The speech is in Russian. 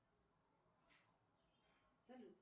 салют